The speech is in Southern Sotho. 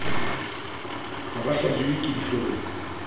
ha ba hlajiwe ke dihloong